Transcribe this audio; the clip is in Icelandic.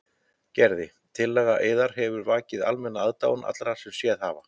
Gerði: Tillaga yðar hefur vakið almenna aðdáun allra sem séð hafa.